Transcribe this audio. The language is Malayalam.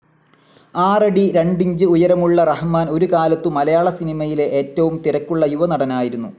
ആറടി രണ്ടിഞ്ച് ഉയരമുള്ള റഹ്‌മാൻ ഒരുകാലത്തു മലയാള സിനിമയിലെ ഏറ്റവും തിരക്കുള്ള യുവ നടനായിരുന്നു.